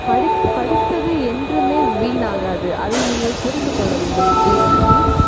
படித்தது என்றுமே வீணாகாது அதை நீங்கள் புரிந்து கொள்ள வேண்டும் லியோன்சி